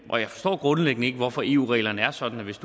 og jeg forstår grundlæggende ikke hvorfor eu reglerne er sådan at hvis